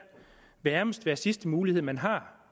nærmest være sidste mulighed man har